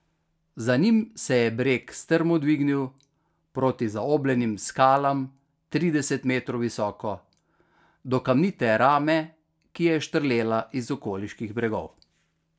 Za njim se je breg strmo dvignil proti zaobljenim skalam trideset metrov visoko, do kamnite rame, ki je štrlela iz okoliških bregov.